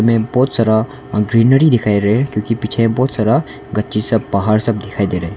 में बहुत सारा अह ग्रीनरी दिखाई दे रहा है क्योंकि पीछे बहुत सारा गच्ची सब पहाड़ सब दिखाई दे रहा है।